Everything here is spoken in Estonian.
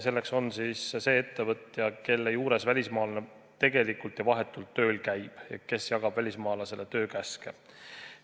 See on see ettevõtja, kelle juures välismaalane tegelikult ja vahetult tööl käib ja kes jagab välismaalasele töökäske.